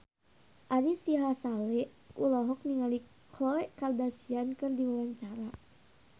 Ari Sihasale olohok ningali Khloe Kardashian keur diwawancara